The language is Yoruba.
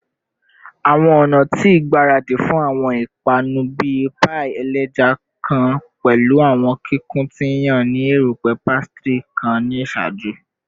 Awọn ọna ti igbaradi fun awọn ipanu bii paii ẹja kan pẹlu awọn kikun ti yan ni erupẹ pastry kan ni iṣaaju